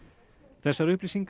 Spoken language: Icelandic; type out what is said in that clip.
þessar upplýsingar